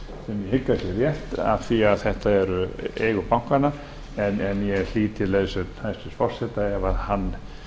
sé rétt af því að þetta eru eigur bankanna en ég hlíti leiðsögn hæstvirts forseta ef hann